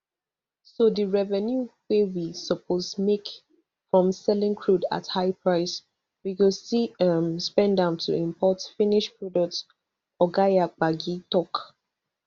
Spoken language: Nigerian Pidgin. so di revenue wey we suppose make from selling crude at high price we go still um spend am to import finished products oga yabagi tok